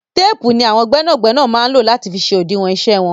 Téèpù ni àwọn gbẹ́nàgbẹ́nà máa ń lò láti fi ṣe òdiwọn iṣẹ́ wọn.